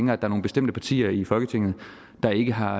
der er nogle bestemte partier her i folketinget der ikke har